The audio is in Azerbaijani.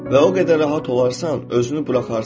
Və o qədər rahat olarsan, özünü buraxarsan.